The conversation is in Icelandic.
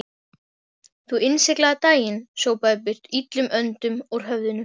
Þú innsiglaðir daginn, sópaðir burt illum öndum úr höfðinu.